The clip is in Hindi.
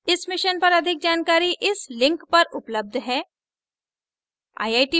इस mission पर अधिक जानकारी इस link पर उपलब्ध है